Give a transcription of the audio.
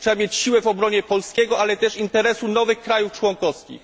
Trzeba mieć siłę w obronie polskiego interesu, ale też interesu nowych państw członkowskich.